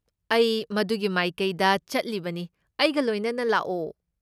ꯑꯩ ꯃꯗꯨꯒꯤ ꯃꯥꯏꯀꯩꯗ ꯆꯠꯂꯤꯕꯅꯤ, ꯑꯩꯒ ꯂꯣꯏꯅꯅ ꯂꯥꯛꯑꯣ ꯫